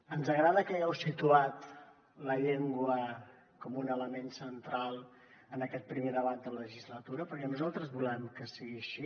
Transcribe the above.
ens agrada que hagueu situat la llengua com un element central en aquest primer debat de legislatura perquè nosaltres volem que sigui així